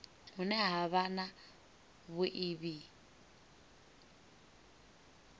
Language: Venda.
hune ha vha na vhuiivhi